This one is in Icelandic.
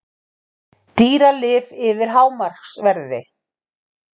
Dýralyf yfir hámarksverði